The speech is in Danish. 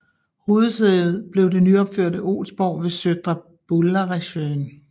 Hovedsæde blev det nyopførte Olsborg ved Södra Bullaresjön